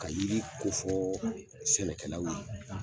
Ka yiri ko fɔ sɛnɛkɛlaw ye.